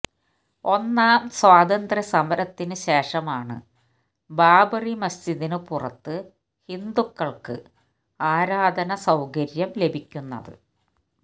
ഒന്നാം സ്വാതന്ത്ര്യ സമരത്തിനു ശേഷമാണ് ബാബരി മസ്ജിദിനു പുറത്ത് ഹിന്ദുക്കള്ക്ക് ആരാധനാ സൌകര്യം ലഭിക്കുന്നത്